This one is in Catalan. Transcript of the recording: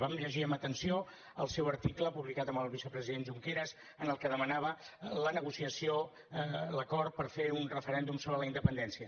vam llegir amb atenció el seu article publicat amb el vicepresident junqueras en el que demanava la negociació l’acord per fer un referèndum sobre la independència